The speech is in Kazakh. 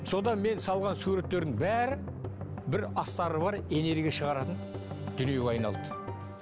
содан мен салған суреттердің бәрі бір астары бар энергия шығаратын дүниеге айналды